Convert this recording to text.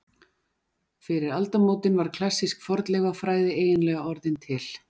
Fyrir aldamótin var klassísk fornleifafræði eiginlega orðin til.